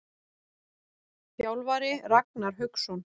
Þjálfari: Ragnar Hauksson.